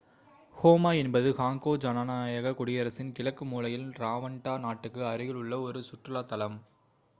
coma என்பது Congo ஜனநாயகக் குடியரசின் கிழக்கு மூலையில் ரவாண்டா நாட்டுக்கு அருகில் உள்ள ஒரு சுற்றுலாத்தலம்